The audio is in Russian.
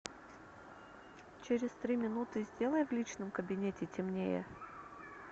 через три минуты сделай в личном кабинете темнее